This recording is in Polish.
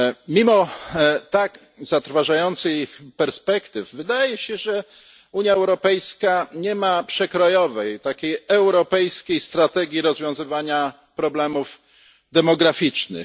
Mimo tak zatrważających perspektyw wydaje się, że Unia Europejska nie ma przekrojowej, europejskiej strategii rozwiązywania problemów demograficznych.